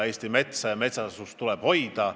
Eesti metsa ja metsasust tuleb hoida.